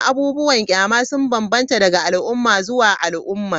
Abubuwan kyama sun bambanta daga al'umma zuwa al'umma.